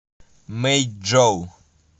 мэйчжоу